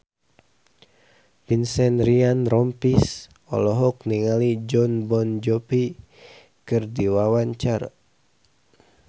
Vincent Ryan Rompies olohok ningali Jon Bon Jovi keur diwawancara